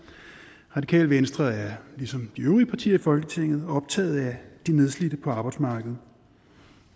radikale venstre er ligesom de øvrige partier i folketinget optaget af de nedslidte på arbejdsmarkedet